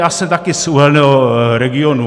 Já jsem taky z uhelného regionu.